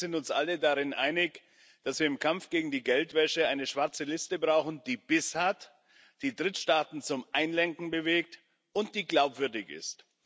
Ich glaube, wir sind uns alle darin einig, dass wir im Kampf gegen die Geldwäsche eine schwarze Liste brauchen, die Biss hat, die Drittstaaten zum Einlenken bewegt und die glaubwürdig ist.